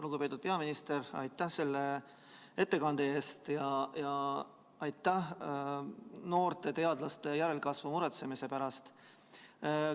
Lugupeetud peaminister, aitäh selle ettekande eest ja aitäh noorte teadlaste järelkasvu pärast muretsemise eest!